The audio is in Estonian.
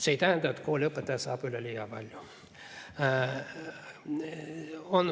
See ei tähenda, et kooliõpetaja saab üleliia palju.